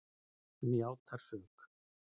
Hann játar sök.